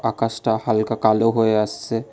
আকাশটা হালকা কালো হয়ে আসছে।